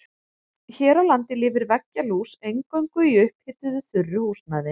Hér á landi lifir veggjalús eingöngu í upphituðu þurru húsnæði.